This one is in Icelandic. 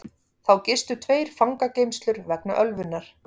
Þá gistu tveir fangageymslur vegna ölvunar